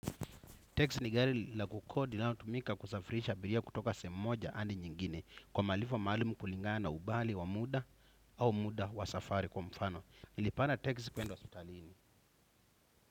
Teksi ni gari la kukodi linalotumika kusafirisha abiria kutoka sehemu moja hadi nyingine. Kwa malipo maalumu kulingana umbali wa muda au muda wa safari kwa mfano nilipanda teksi kwenda wa hospitalini.